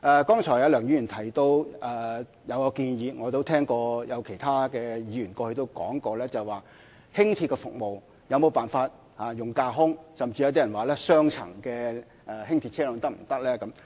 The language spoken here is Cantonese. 剛才梁議員提到一項建議，我亦聽到有其他議員曾問及，輕鐵的服務可否採用架空軌道，甚至有些人提出雙層輕鐵車輛是否可行。